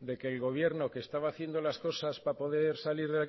de que el gobierno que estaba haciendo las cosas para poder salir